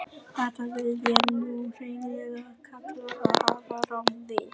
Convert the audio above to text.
Þetta vil ég nú hreinlega kalla að hafa rangt við.